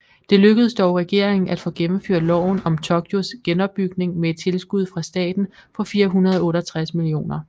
Det lykkedes dog regeringen at få gennemført loven om Tokyos genopbygning med et tilskud fra staten på 468 mio